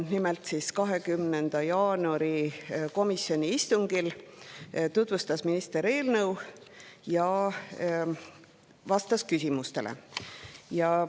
Nimelt, komisjoni 20. jaanuari istungil tutvustas minister eelnõu ja vastas küsimustele.